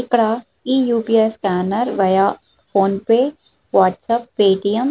ఇక్కడ ఈ U. P. I scanner via PhonePe WhatsApp Paytm --